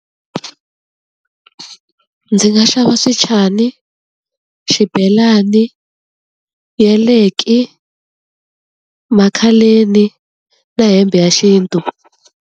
Ndzi nga xava swichani, xibelani, yaleki, makhaleni, na hembe ya xintu.